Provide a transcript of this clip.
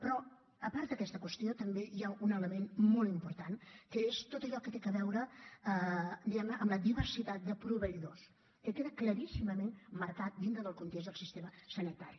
però a part d’aquesta qüestió també hi ha un element molt important que és tot allò que té a veure diguem ne amb la diversitat de proveïdors que queda claríssimament marcat dintre del context del sistema sanitari